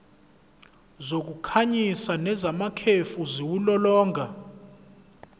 zokukhanyisa nezamakhefu ziwulolonga